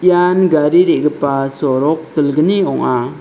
ian gari re·gipa sorok dilgni ong·a.